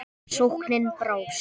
Sóknin brást.